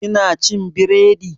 Ki na cin biredi?